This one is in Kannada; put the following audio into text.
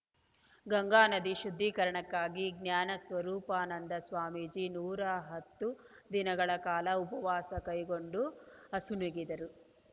ಗಂಗಾ ನದಿ ಶುದ್ಧೀಕರಣಕ್ಕಾಗಿ ಜ್ಞಾನ ಸ್ವರೂಪಾನಂದ ಸ್ವಾಮೀಜಿ ನೂರ ಹತ್ತು ದಿನಗಳ ಕಾಲ ಉಪವಾಸ ಕೈಗೊಂಡು ಅಸುನೀಗಿದರು